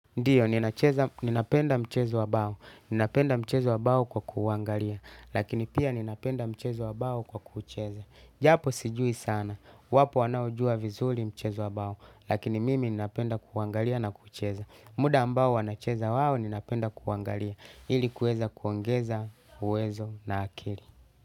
Ndiyo, ninapenda mchezo wa bawo, ninapenda mchezo wa bawo kwa kuuangalia, lakini pia ninapenda mchezo wa bawo kwa kuucheza. Japo sijui sana, wapo wanaojua vizuri mchezo wa bawo, lakini mimi ninapenda kuwangalia na kuucheza. Muda ambao wanacheza wao ninapenda kuangalia, ili kueza kuongeza, uwezo na akili.